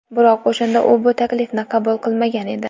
Biroq o‘shanda u bu taklifni qabul qilmagan edi.